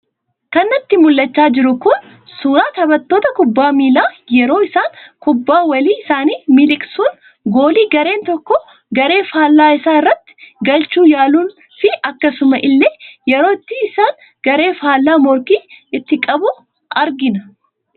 Kan natti mul'achaa jiru Kun, suuraa taphattoota kubbaa miilaa, yeroo isaan kubbaa walii isaanii miliqsuun goolii gareen tokko garee fallaa isaa irratti galchuu yaaluun fi akkasuma illee yeroo ittisni garee faallaa morkii ittiin qabu argina.